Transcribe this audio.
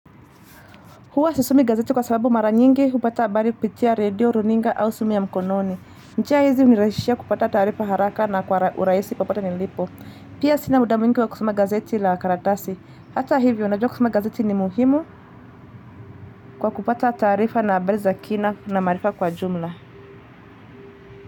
Huwa sisomi gazeti kwa sababu mara nyingi, hupata habari kupitia radio, runinga au simu ya mkononi. Njia hizi hunirahisishia kupata taarifa haraka na kwa urahisi popote nilipo. Pia sina muda mwingi wa kusoma gazeti la karatasi. Hata hivyo, najua kusoma gazeti ni muhimu kwa kupata taarifa na habari za kina na maarifa kwa jumla.